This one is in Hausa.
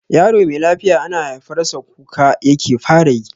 Yaro me lafiya ana haifar sa kuka yake fara yi.